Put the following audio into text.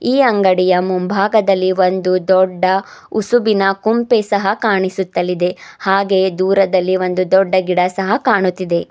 ಈ ಅಂಗಡಿಯ ಮುಂಭಾಗದಲ್ಲಿ ಒಂದು ದೊಡ್ಡ ಉಸುಬಿನ ಕುಂಪೆ ಸಹ ಕಾಣಿಸುತ್ತಲಿದೆ ಹಾಗೆ ದೂರದಲ್ಲಿ ಒಂದು ದೊಡ್ಡ ಗಿಡ ಸಹ ಕಾಣುತಿದೆ.